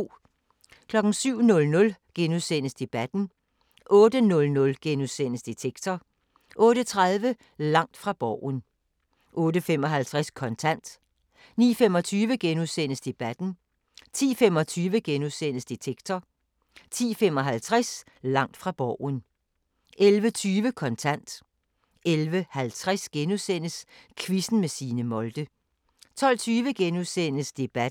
07:00: Debatten * 08:00: Detektor * 08:30: Langt fra Borgen 08:55: Kontant 09:25: Debatten * 10:25: Detektor * 10:55: Langt fra Borgen 11:20: Kontant 11:50: Quizzen med Signe Molde * 12:20: Debatten *